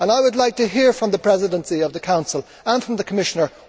I would like to hear from the Presidency of the Council and from the Commissioner.